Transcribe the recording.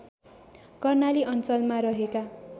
कर्णाली अञ्चलमा रहेका